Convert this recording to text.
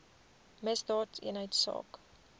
misdaadeenheidsaak